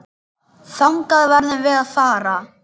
Þangað verðum við að fara.